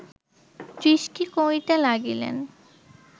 দৃষ্টি করিতে লাগিলেন